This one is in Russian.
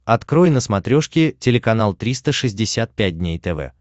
открой на смотрешке телеканал триста шестьдесят пять дней тв